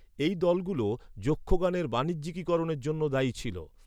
এই দলগুলো যক্ষগানের বাণিজ্যিকীকরণের জন্য দায়ী ছিল।